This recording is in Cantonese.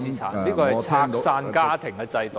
這是拆散家庭的制度。